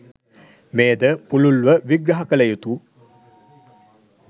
මෙයද පුළුල්ව විග්‍රහ කළ යුතු